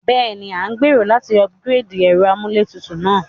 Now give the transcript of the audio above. Béèni, a n gbèrò láti upgrade ẹ́ro amúlétutù náà